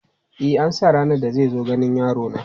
E, an sa ranar da zai zo ganin yarona.